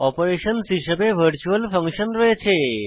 অপারেশনসহ হিসাবে virtual function রয়েছে